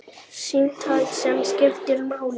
Símtal sem skiptir máli